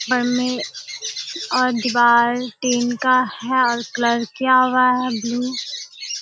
बनी और दीवार टीन का है कलर किया हुआ है ब्लू ।